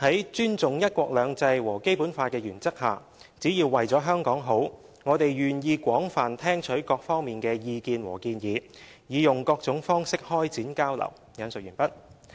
在尊重'一國兩制'和《基本法》的原則下，只要為了香港好，我們願意廣泛聽取各方面的意見和建議，以用各種方式開展交流。